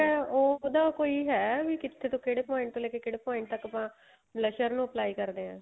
ਉਹ ਉਹਦਾ ਕੋਈ ਹੈ ਵੀ ਕਿੱਥੇ ਤੋਂ ਕਿਹੜੇ point ਤੋਂ ਲੈ ਕੇ ਕਿਹੜੇ point ਤੱਕ ਆਪਾਂ blusher ਨੂੰ apply ਕਰਦੇ ਆ